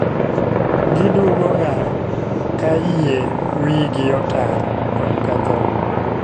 Giduogo ga ka yie wi gi otar to okethore